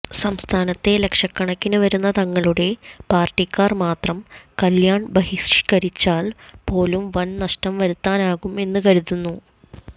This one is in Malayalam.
സംസ്ഥാനത്തേ ലക്ഷകണക്കിന് വരുന്ന തങ്ങളുടെ പാർട്ടിക്കാർ മാത്രം കല്യാൺ ബഹിഷ്കരിച്ചാൽ പോലും വൻ നഷ്ടം വരുത്താനാകും എന്നും കരുതുന്നു